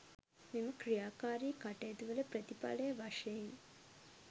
මෙම ක්‍රියාකාරී කටයුතුවල ප්‍රතිඵලය වශයෙන්